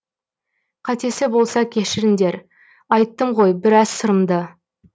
қатесі болса кешіңдер айттым ғой біраз сырымды